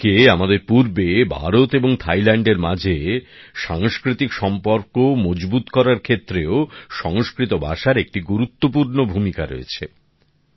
এদিকে আমাদের পূর্বে ভারত এবং থাইল্যান্ডের মাঝে সাংস্কৃতিক সম্পর্ক মজবুত করার ক্ষেত্রেও সংস্কৃত ভাষার একটি গুরুত্বপূর্ণ ভূমিকা রয়েছে